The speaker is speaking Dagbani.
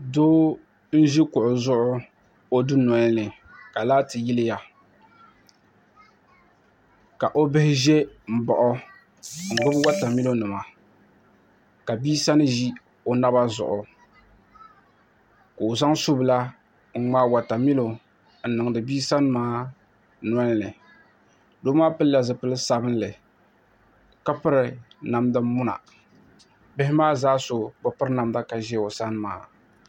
Doo n-ʒi kuɣu zuɣu o dunoli ni ka laati yiliya ka o bihi ʒe m-baɣi o n-ɡbubi watamilonima ka bia sani ʒi o naba zuɣu ka o zaŋ subila n-ŋmaai watamilo n-niŋdi bia sani maa noli ni doo maa pilla zipil' sabinli ka piri namdamuna bihi maa zaa so bi piri namda ka ʒi o sani maa